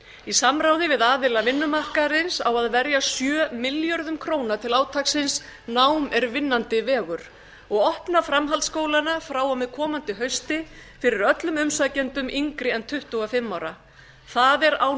í samráði við aðila vinnumarkaðarins á að verja sjö milljörðum króna til átaksins nám er vinnandi vegur á opna framhaldsskólana frá og með komandi hausti fyrir öllum umsækjendum yngri en tuttugu og fimm ára það er án